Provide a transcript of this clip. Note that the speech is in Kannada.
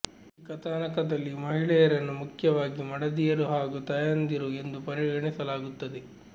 ಈ ಕಥಾನಕದಲ್ಲಿ ಮಹಿಳೆಯರನ್ನು ಮುಖ್ಯವಾಗಿ ಮಡದಿಯರು ಹಾಗೂ ತಾಯಂದಿಯರು ಎಂದು ಪರಿಗಣಿಸಲಾಗುತ್ತದೆ